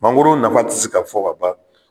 Mangoro nafa ti se ka fɔ ka ban